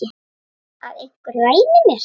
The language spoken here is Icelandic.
Að einhver ræni mér.